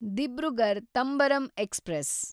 Dibrugarh Tambaram express